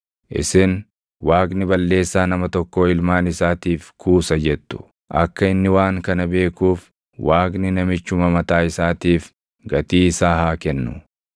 Isin, ‘Waaqni balleessaa nama tokkoo ilmaan isaatiif kuusa’ jettu. Akka inni waan kana beekuuf Waaqni namichuma mataa isaatiif gatii isaa haa kennu!